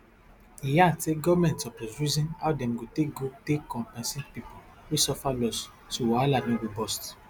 e add say goment suppose reason how dem go take go take compensate pipo wey suffer loss so wahala no go burst